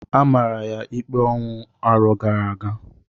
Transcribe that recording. A mara ya ikpe ọnwụ arọ gara aga.